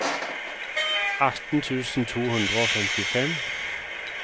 atten tusen to hundre og femtifem